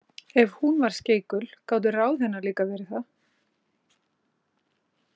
Ef hún var skeikul gátu ráð hennar líka verið það.